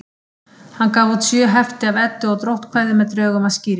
Hann gaf út sjö hefti af Eddu- og dróttkvæðum með drögum að skýringum.